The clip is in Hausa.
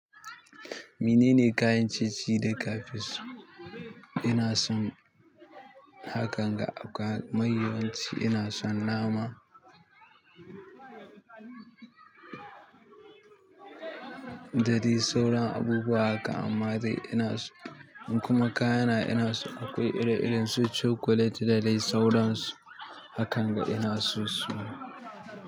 Wannene kayan ciye-ciye da ka fi so. Ina son hakan ga akwa mai yawanci. Ina son nama, da dai sauran abubuwa haka amma dai ina so in kuma kayana ina so akwai ire-iren su chocolate da dai sauransu. Hakanga ina so su.